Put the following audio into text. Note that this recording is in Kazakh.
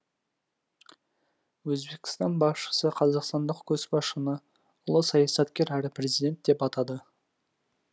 өзбекстан басшысы қазақстандық көшбасшыны ұлы саясаткер әрі президент деп атады